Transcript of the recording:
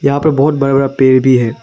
यहां पर बहुत बड़ा बड़ा पेड़ भी है।